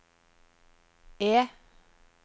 E